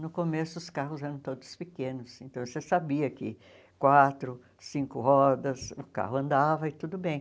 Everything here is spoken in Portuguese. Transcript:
No começo os carros eram todos pequenos, então você sabia que quatro, cinco rodas, o carro andava e tudo bem.